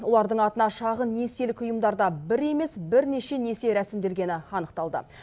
олардың атына шағын несиелік ұйымдарда бір емес бірнеше несие рәсімделгені анықталды